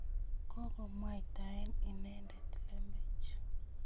Kokemwaitae inendet lembech